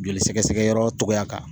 Joli sɛgɛsɛgɛyɔrɔ togoya kan